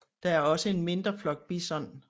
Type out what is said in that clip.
Der er også en mindre flok bison